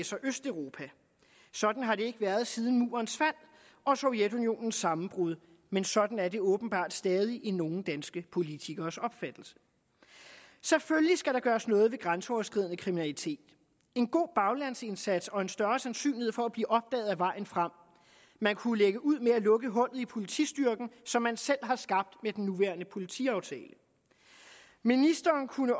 sig østeuropa sådan har det ikke været siden murens fald og sovjetunionens sammenbrud men sådan er det åbenbart stadig i nogle danske politikeres opfattelse selvfølgelig skal der gøres noget ved grænseoverskridende kriminalitet en god baglandsindsats og en større sandsynlighed for at blive opdaget er vejen frem man kunne lægge ud med at lukke hullet i politistyrken som man selv har skabt med den nuværende politiaftale ministeren kunne